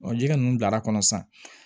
Ɔ jiri ninnu bilala kɔnɔ sisan